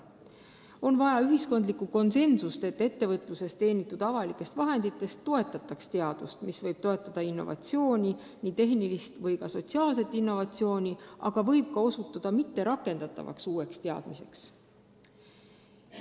On vaja ühiskonna konsensust, et ettevõtluses teenitud avalike vahendite abil tehtaks teadust, mis võib toetada innovatsiooni – nii tehnilist kui ka sotsiaalset innovatsiooni –, aga võib ka osutuda mitterakendatavaks uueks teadmiseks.